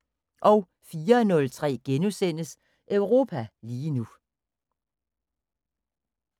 04:03: Europa lige nu *